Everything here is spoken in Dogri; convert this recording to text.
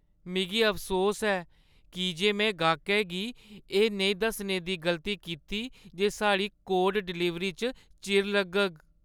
मिगी अफसोस ऐ की जे में गाह्कै गी एह् नेईं दस्सने दी गलती कीती जे साढ़ी कोड डलीवरी च चिर लग्गग।